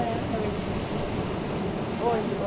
Era à noite. Onde?